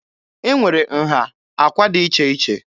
E nwere nha àkwà dị iche iche.